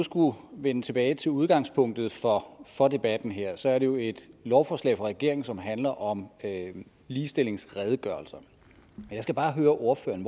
skulle vende tilbage til udgangspunktet for for debatten her så er det jo et lovforslag fra regeringens side som handler om ligestillingsredegørelserne jeg skal bare høre ordføreren